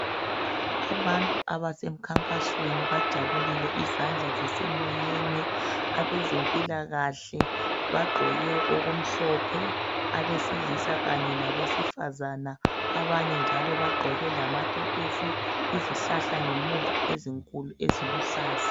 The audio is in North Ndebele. Abantu abase mkhankasweni bajabulile izandla zisemoyeni abezempilakahle bagqoke okumhlophe abesilisa kanye labesifazana abanye njalo bagqoke lamakepesi izihlahla ngemuva ezinkulu eziluhlaza.